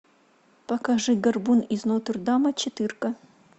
покажи горбун из нотр дама четырка